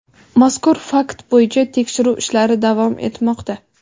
Mazkur fakt bo‘yicha tekshiruv ishlari davom etmoqda.